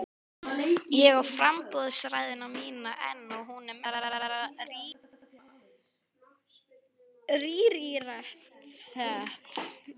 Ég á framboðsræðuna mína enn og hún er mesta rarítet.